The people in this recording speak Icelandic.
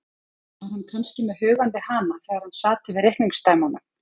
Var hann kannski með hugann við hana þegar hann sat yfir reikningsdæmunum.